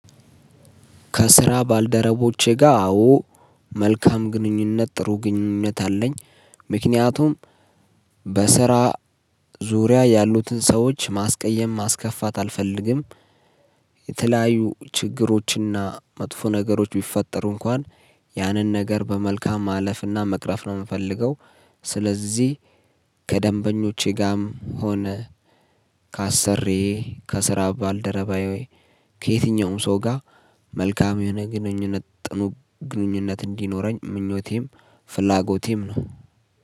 ከስራ ባልደረቦቼ ጋር አዎ መልካም ግንኙነት ጥሩ ግንኙነት አለኝ። ምክንያቱም በስራ ዙሪያ ያሉትን ሰዎች ማስቀየም ማስከፋት አልፈልግም። የተለያዩ ችግሮችና መጥፎ ነገሮች ቢፈጠሩ እንኳን ያንን ነገር በመልካም ማለፍና መቅረፍ ነው የምፈልገው። ስለዚህ ከደንበኞቼ ጋርም ሆነ ካሰርዬ ከስራ ባልደረባዬ ወይ ከየትኛውም ሰው ጋር መልካም የሆነ ግንኙነት ግንኙነት እንዲኖረኝ ምኞቴም ፍላጎቴም ነው